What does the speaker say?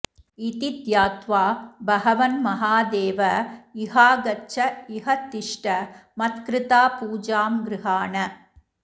इति ध्यात्वा भगवन् महादेव इहागच्छ इह तिष्ठ मत्कृता पूजां गृहाण